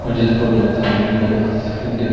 मुझे इस फोटो के सामने बहोत सी--